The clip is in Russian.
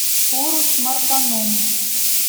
урус мартаном